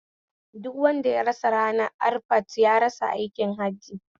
Duk wanda ya rasa ranar arafat ya rasa aikin hajji